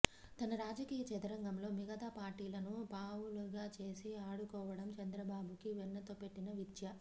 తన రాజకీయ చదరంగంలో మిగతా పార్టీలను పావులుగా చేసి ఆడుకోవడం చంద్రబాబుకి వెన్నతో పెట్టిన విద్య